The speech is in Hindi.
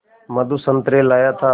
मधु संतरे लाया था